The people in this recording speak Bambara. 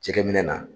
Jɛgɛminɛ na